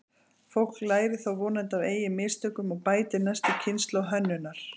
Fólk lærir þó vonandi af eigin mistökum og bætir næstu kynslóð hönnunar.